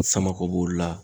Samakɔ b'o la